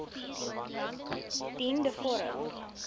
dien de vorm